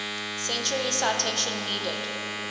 century citation needed